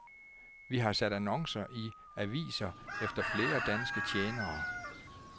Vi har sat annoncer i aviser efter flere danske tjenere.